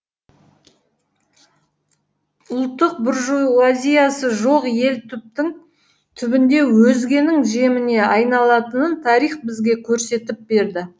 ұлттық буржуазиясы жоқ ел түптің түбінде өзгенің жеміне айналатынын тарих бізге көрсетіп берді